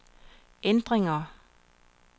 ændringer